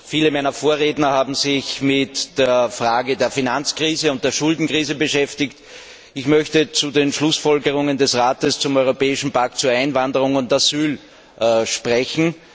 Viele meiner Vorredner haben sich mit der Frage der Finanz und der Schuldenkrise beschäftigt. Ich möchte zu den Schlussfolgerungen des Rates zum europäischen Pakt zu Einwanderung und Asyl sprechen.